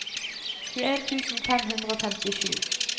tjueen tusen fem hundre og femtisju